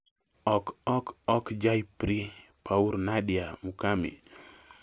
ok ok ok j'ai pri? pour nadia mukami